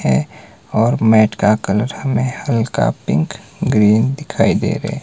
है और मैट का कलर हमें हल्का पिंक ग्रीन दिखाई दे रे--